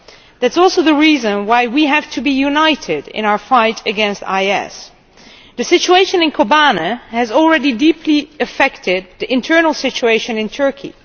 That is also the reason why we have to be united in our fight against IS. The situation in Kobane has already deeply affected the internal situation in Turkey.